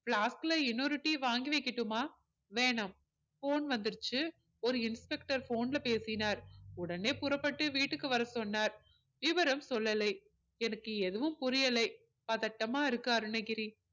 flask ல இன்னொரு tea வாங்கி வைக்கட்டுமா வேணாம் phone வந்துருச்சு ஒரு inspector phone ல பேசினார் உடனே புறப்பட்டு வீட்டுக்கு வரச் சொன்னார் விவரம் சொல்லலை எனக்கு எதுவும் புரியலை பதட்டமா இருக்கு அருணகிரி